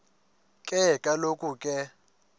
ke kaloku ke